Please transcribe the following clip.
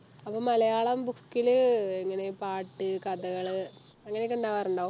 അപ്പൊ മലയാളം book ലു എങ്ങനെ ഈ പാട്ട് കഥകള് അങ്ങനെയൊക്കെ ഉണ്ടാകാറുണ്ടോ